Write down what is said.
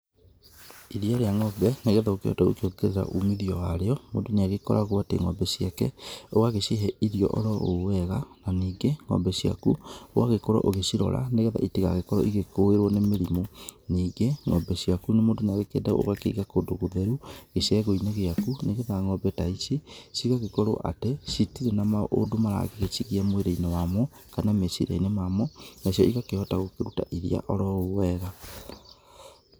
Iria rĩa ng'ombe nĩgetha ũkĩhote gũkiongerera umithio warĩo, mũndũ nĩagĩkoragwo atĩ ng'ombe ciake ũgagĩcihe irio oroũũ wega, ningĩ ng'ombe ciaku ũgagũkorwo ũgĩcirora nĩgetha itigagĩkworo igĩkũĩrwo nĩ mirimu. Nĩ ng'ombe ciaku mũndũ niegũkeenda ũgagĩciga kũndũ gũtheru gĩcegũinĩ gĩaku nĩgetha ng'ombe ta ici cigagĩkorwo atĩ citirĩ na maũndũ maragĩcigia mwĩrĩ inĩ wamo kana meciriainĩ mamo. Nacio igakĩhota kũruta iria orowega.